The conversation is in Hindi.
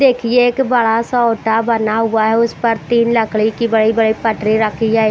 देखिए एक बड़ा सा ओटा बना हुआ है उस पर तीन लकड़ी की बड़ी बड़ी पटरी रखी है।